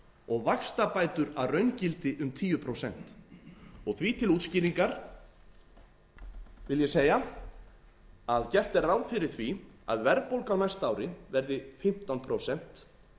og vaxtabætur að raungildi um tíu prósent því til útskýringar vil ég segja að gert er ráð fyrir því að verðbólga á næsta ári verði fimmtán prósent